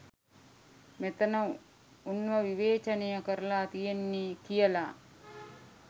මෙතන උන්ව විවේචනය කරල තියෙන්නෙ කියල.